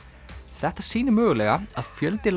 þetta sýnir mögulega að fjöldi